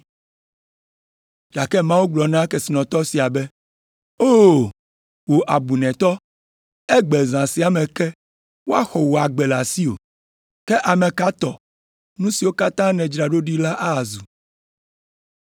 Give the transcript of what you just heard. “Gake Mawu gblɔ na kesinɔtɔ sia be, ‘O, wò abunɛtɔ, egbe zã sia me ke woaxɔ wò agbe le asiwò. Ke ame ka tɔ nu siwo katã wòdzra ɖo ɖi la azu?’